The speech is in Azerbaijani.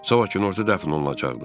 Sabah günorta dəfn olunacaq.